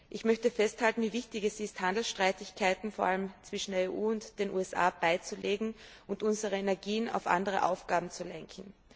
Ich möchte festhalten, wie wichtig es ist, Handelsstreitigkeiten, vor allem zwischen der EU und den USA, beizulegen und unsere Energien auf andere Aufgaben zu lenken.